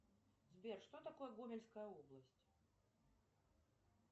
сбер что такое гомельская область